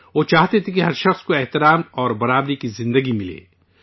وہ چاہتے تھے کہ ہر شخص کو عزت اور برابری کی زندگی حاصل ہو